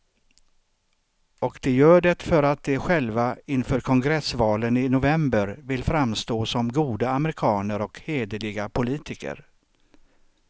Och de gör det för att de själva inför kongressvalen i november vill framstå som goda amerikaner och hederliga politiker.